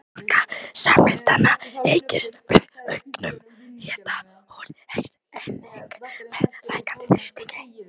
Hreyfiorka sameindanna eykst með auknum hita en hún eykst einnig með lækkandi þrýstingi.